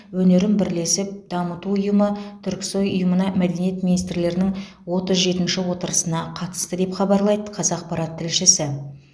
өнерін бірлесіп дамыту ұйымы түрксой ұйымына мәдениет министрлерінің отыз жетінші отырысына қатысты деп хабарлайды қазақпарат тілшісі